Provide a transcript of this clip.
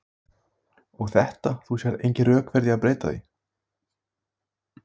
Þorbjörn Þórðarson: Og þetta, þú sérð engin rök fyrir því að breyta því?